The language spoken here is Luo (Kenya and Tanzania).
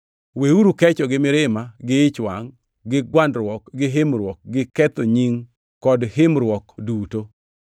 Weuru kecho gi mirima gi ich wangʼ gi gwandruok gi himruok gi ketho nying kod himruok duto.